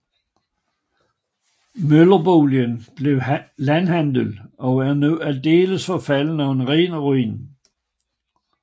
Møllerboligen blev landhandel og er nu aldeles forfalden og en ren ruin